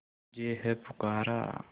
तुझे है पुकारा